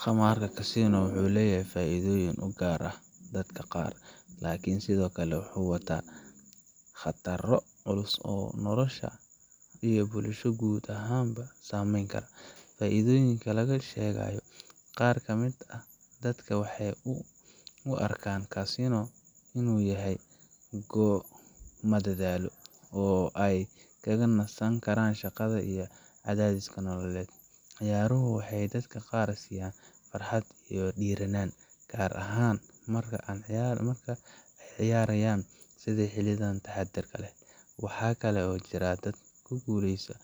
Khamaarka casino wuxuu leeyahay faa’iidooyin u gaar ah dadka qaar, laakiin sidoo kale wuxuu wataa khataro culus oo nolosha qofka iyo bulshada guud ahaanba saameyn kara. Faa’iidooyinka laga sheegayo: Qaar ka mid ah dadka waxay u arkaan casino inuu yahay goob madadaalo, oo ay kaga nasan karaan shaqada iyo cadaadiska nololeed. Ciyaaruhu waxay dadka qaar siiyaan farxad iyo dhiiranaan, gaar ahaan marka ay ciyaarayaan si xadidan oo taxaddar leh. Waxaa kale oo jira dad ku guuleysta